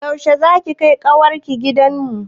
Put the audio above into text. Yaushe za ki kai ƙawar ki gidan mu?